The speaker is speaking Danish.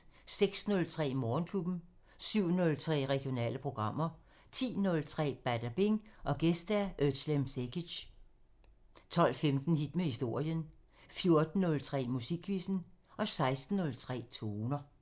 06:03: Morgenklubben 07:03: Regionale programmer 10:03: Badabing: Gæst Özlem Cekic 12:15: Hit med historien 14:03: Musikquizzen 16:03: Toner